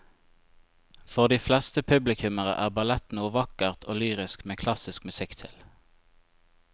For de fleste publikummere er ballett noe vakkert og lyrisk med klassisk musikk til.